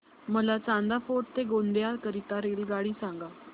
मला चांदा फोर्ट ते गोंदिया करीता रेल्वेगाडी सांगा